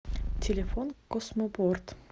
телефон космопорт